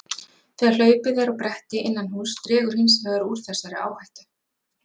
Þegar hlaupið er á bretti innan húss dregur hins vegar úr þessari áhættu.